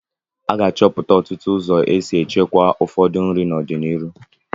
A ga-achọpụta ọtụtụ ụzọ esi echekwaa ụfọdụ nri n'ọdịnihu.